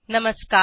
नमस्कार